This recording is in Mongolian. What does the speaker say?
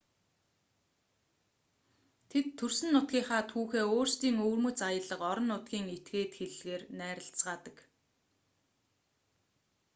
тэд төрсөн нутгийн түүхээ өөрсдийн өвөрмөц аялга орон нутгийн этгээд хэллэгээр найрлацгаадаг